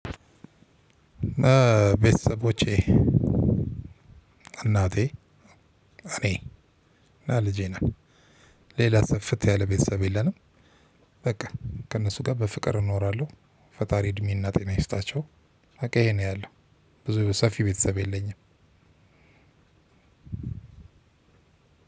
ቤተሰቦቼ እናቴ እኔ እና ልጄ እና ሌላ ስፍት ያለ ቤተሰብ የለንም። በቃ ከእነሱ ጋር በፍቅር እኖራለሁ። ፈጣሪ እድሜና ጤና ይስጣቸው። በቃ ይሄን አያለሁ። ብዙ ሰፊ ቤተሰብ የለኝም።